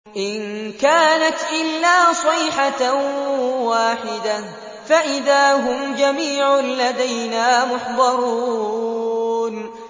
إِن كَانَتْ إِلَّا صَيْحَةً وَاحِدَةً فَإِذَا هُمْ جَمِيعٌ لَّدَيْنَا مُحْضَرُونَ